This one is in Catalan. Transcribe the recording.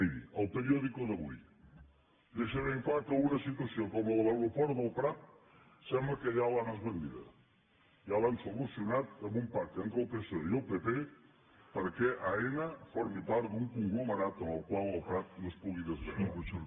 miri el periódico d’avui deixa ben clar que una situació com la de l’aeroport del prat sembla que ja l’han esbandida ja l’han solucionat amb un pacte entre el psoe i el pp perquè aena formi part d’un conglomerat en el qual el prat no es pugui desagregar